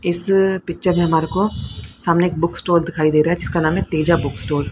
इस पिक्चर में हमारे को सामने एक बुक स्टोर दिखाई दे रहा है जिसका नाम है तेजा बुक स्टोर --